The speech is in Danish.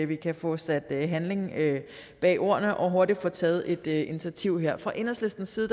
vi kan få sat handling bag ordene og hurtigt få taget et initiativ her fra enhedslistens side